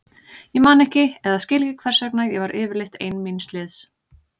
Ég man ekki eða skil ekki hvers vegna ég var yfirleitt ein míns liðs.